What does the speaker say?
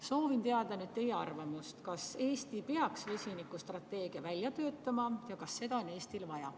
Soovin teada teie arvamust, kas Eesti peaks vesinikustrateegia välja töötama ja kas seda on Eestil vaja.